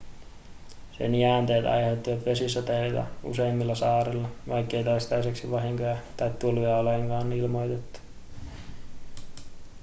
sen jäänteet aiheuttivat vesisateita useimmilla saarilla vaikkei toistaiseksi vahinkoja tai tulvia olekaan ilmoitettu